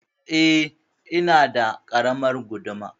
Eh, ina da ƙaramar guduma.